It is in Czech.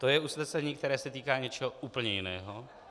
To je usnesení, které se týká něčeho úplně jiného.